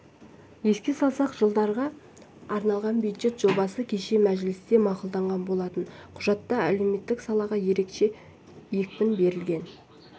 еске салсақ жылдарға арналған бюджет жобасы кеше мәжілісте мақұлданған болатын құжатта әлеуметтік салаға ерекше екпін берілген